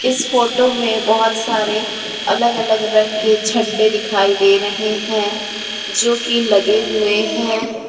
इस फोटो में बहोत सारे अलग अलग रंग के झंडे दिखाई दे रहे हैं जो कि लगे हुए हैं।